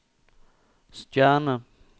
stjerne